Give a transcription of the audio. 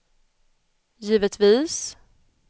givetvis